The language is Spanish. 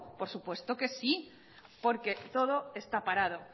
por supuesto que sí porque todo está parado